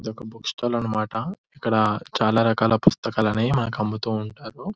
ఇది ఒక book stall అన్నమాట ఇక్కడ చాలా రకాల పుస్తకాలు అనేవి అమ్ముతూంటారు.